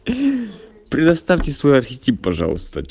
предоставьте свой архетип пожалуйста